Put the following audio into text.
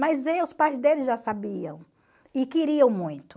Mas os pais deles já sabiam e queriam muito.